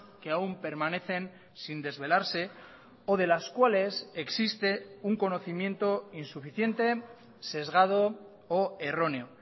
que aún permanecen sin desvelarse o de las cuales existe un conocimiento insuficiente sesgado o erróneo